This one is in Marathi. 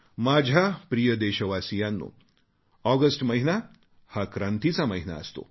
माझ्या प्रिय देशवासियांनो ऑगस्ट महिना हा क्रांतीचा महिना असतो